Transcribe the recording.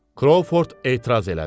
Krovford etiraz elədi.